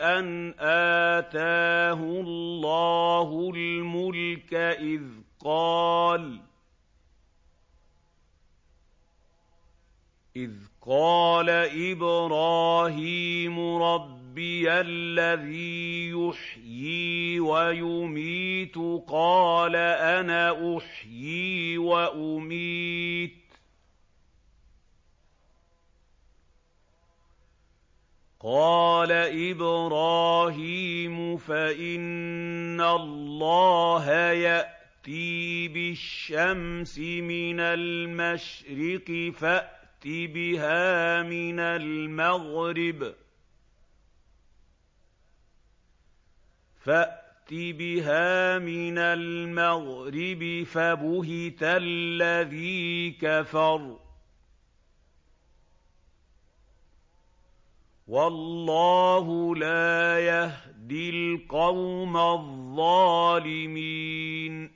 أَنْ آتَاهُ اللَّهُ الْمُلْكَ إِذْ قَالَ إِبْرَاهِيمُ رَبِّيَ الَّذِي يُحْيِي وَيُمِيتُ قَالَ أَنَا أُحْيِي وَأُمِيتُ ۖ قَالَ إِبْرَاهِيمُ فَإِنَّ اللَّهَ يَأْتِي بِالشَّمْسِ مِنَ الْمَشْرِقِ فَأْتِ بِهَا مِنَ الْمَغْرِبِ فَبُهِتَ الَّذِي كَفَرَ ۗ وَاللَّهُ لَا يَهْدِي الْقَوْمَ الظَّالِمِينَ